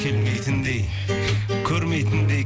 келмейтіндей көрмейтіндей